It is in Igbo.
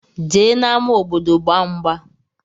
Jee na ama obodo gba ngba.